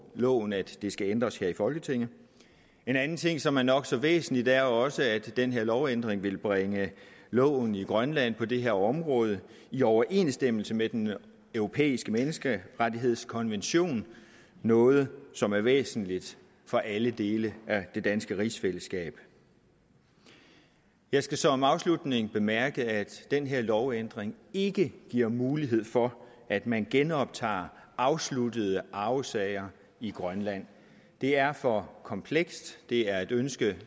loven at det skal ændres her i folketinget en anden ting som er nok så væsentlig er også at den her lovændring vil bringe loven i grønland på det her område i overensstemmelse med den europæiske menneskerettighedskonvention noget som er væsentligt for alle dele af det danske rigsfællesskab jeg skal som afslutning bemærke at den her lovændring ikke giver mulighed for at man genoptager afsluttede arvesager i grønland det er for komplekst det er et ønske